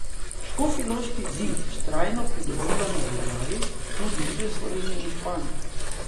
Škofjeloški zid vztrajno pridobiva na veljavi tudi izven Slovenije in Španije.